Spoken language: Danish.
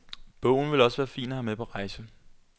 Bogen vil også være fin at have med på rejse.